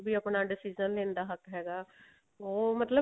ਵੀ ਆਪਣਾ decision ਲੈਣ ਦਾ ਹੱਕ ਹੈਗਾ